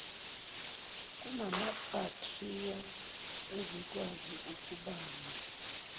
kunamabhakthiriya ezikwazi ukubanga